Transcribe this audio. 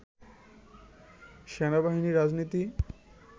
সেনাবাহিনী রাজনীতি